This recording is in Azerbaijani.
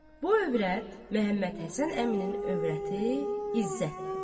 Bu övrət Məmmədhəsən əminin övrəti İzzətdir.